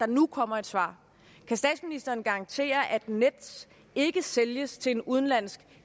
nu kommer et svar kan statsministeren garantere at nets ikke sælges til en udenlandsk